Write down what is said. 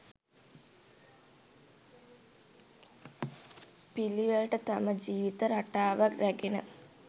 පිළිවෙළට තම ජීවිත රටාව රැගෙන